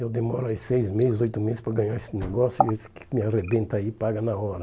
Eu demoro seis meses, oito meses para ganhar esse negócio e esse que me arrebenta aí paga na hora.